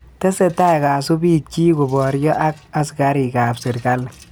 Tesetai kasubiil chiik koboryo ak askariik ab serkali